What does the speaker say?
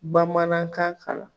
Bamanankan kalan